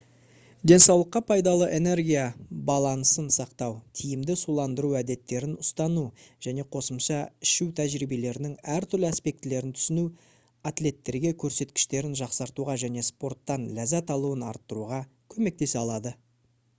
денсаулыққа пайдалы энергия балансын сақтау тиімді суландыру әдеттерін ұстану және қосымша ішу тәжірибелерінің әртүрлі аспектілерін түсіну атлеттерге көрсеткіштерін жақсартуға және спорттан ләззат алуын арттыруға көмектесе алады